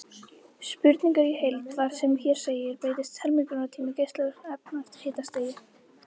Spurningin í heild var sem hér segir: Breytist helmingunartími geislavirkra efna eftir hitastigi?